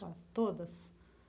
Todas.